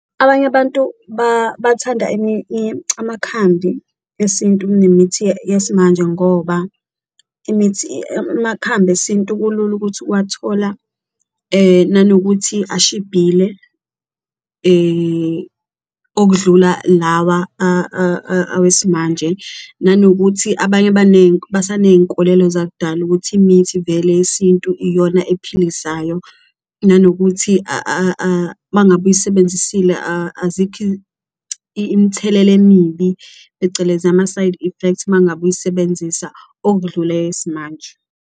Abanye abantu bathanda amakhambi esintu kunemithi yesimanje ngoba imithi amakhambi esintu kulula ukuthi uwathola nanokuthi ashibhile okudlula lawa awesimanje, nanokuthi abanye abaningi basaney'nkolelo zakudala ukuthi imithi vele yesintu iyona ephilisayo. Nanokuthi uma ngabe uyisebenzisile azikho imthelela emibi, phecelezi ama-side effects uma ngabe uyisebenzisa okudlula eyesimanje.